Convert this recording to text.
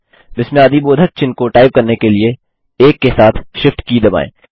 विस्मयादिबोधक चिह्न को टाइप करने के लिए 1 के साथ Shift की दबाएँ